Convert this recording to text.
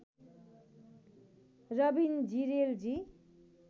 Rabin Jirel जी